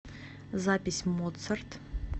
запись моцарт